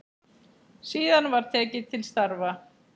Síðan var tekið til starfa.